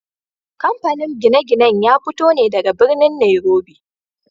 Kamfanin gine-ginen ya fito ne daga birnin Nairobi.